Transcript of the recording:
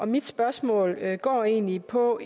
mit spørgsmål går egentlig på